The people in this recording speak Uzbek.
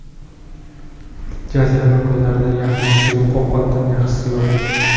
Jazirama kunlarda yaxna suyuq ovqatdan yaxshisi yo‘q.